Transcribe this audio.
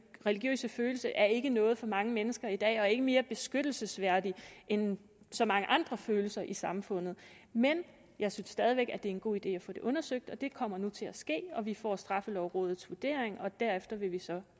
religiøse følelse er ikke noget for mange mennesker i dag og ikke mere beskyttelsesværdig end så mange andre følelser i samfundet men jeg synes stadig væk det er en god idé at få det undersøgt og det kommer nu til at ske vi får straffelovrådets vurdering og derefter vil vi så